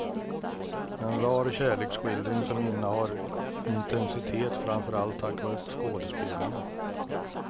En rar kärleksskildring som innehar intensitet framför allt tack vare skådespelarna.